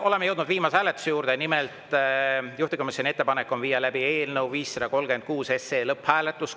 Oleme jõudnud viimase hääletuse juurde, nimelt on juhtivkomisjoni ettepanek viia läbi eelnõu 536 lõpphääletus.